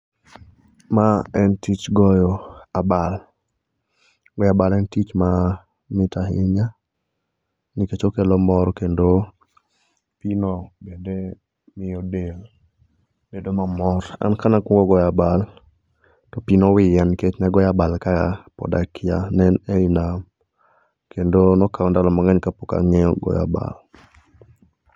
Maen tich goyo abal goyo abal en tich mamit ahinya nikech okelo mor kendo pii no bende miyo del bedo mamor. An kanakuongo goyo abal to pii nowiyo nikech nagoya abal ka pod akia ne en ei nam kendo nokawa ndalo mang'eny ka pok ang'ee goyo abal